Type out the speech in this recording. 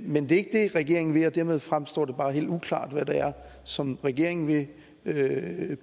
men det er ikke det regeringen vil og dermed fremstår det bare helt uklart hvad det er som regeringen vil